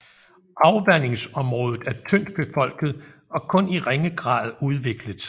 Afvandingsområdet er tyndt befolket og kun i ringe grad udviklet